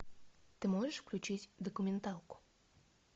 ты можешь включить документалку